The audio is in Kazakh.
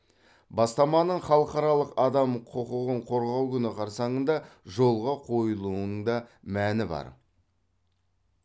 бастаманың халықаралық адам құқығын қорғау күні қарсаңында жолға қойылуының да мәні бар